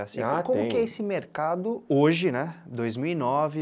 Ah, como que é esse mercado hoje, né, dois mil e nove